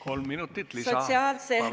Kolm minutit lisaaega.